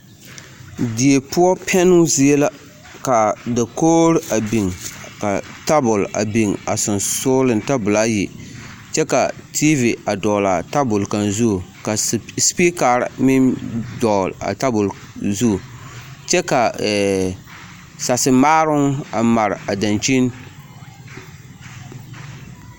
Die poɔ pɛnnoo zie la ka dakogiri a biŋ ka tabol a biŋ a sonsooleŋ, tabolo ayi kyɛ ka TV a dɔgele a tabol kaŋ zu ka sipikari meŋ dɔgele a tabol zu kyɛ ka sasemaaroŋ a mare a dankyini.